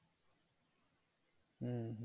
হম হম হম